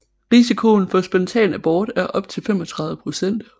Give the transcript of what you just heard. Risikoen for spontan abort er op til 35 procent